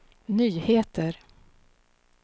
nyheter